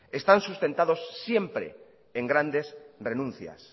están sustentados siempre en grandes renuncias